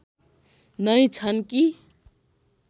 नै छन् कि